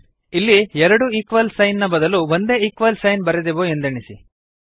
ಇಲ್ಲಿ ಎರಡು equal sign ನ ಬದಲು ಒಂದೇ ಈಕ್ವಲ್ ಸೈನ್ ಬರೆದೆವು ಎಂದೆಣಿಸಿ